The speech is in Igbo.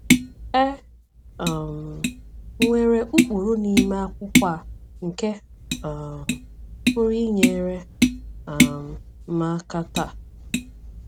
E um nwere ụkpụrụ n’ime akwụkwọ a nke um pụrụ inyere um m aka taa?’